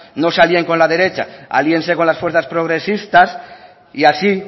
no se alíen con la derecha alíense con las fuerzas progresistas y así